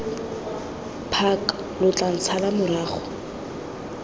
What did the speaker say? park lo tla ntshala morago